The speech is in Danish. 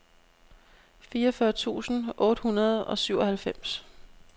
fireogfyrre tusind otte hundrede og syvoghalvfems